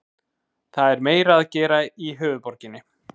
Það er meira að gera í höfuðborginni.